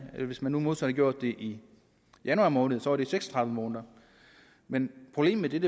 hvis man nu modsat havde gjort det i januar måned var det seks og tredive måneder men problemet